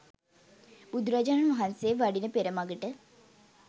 බුදුරජාණන් වහන්සෙ වඩින පෙර මඟට